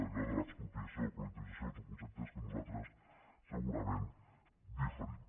allò de l’expropiació o la col·lectivització són conceptes en què nosaltres segurament diferim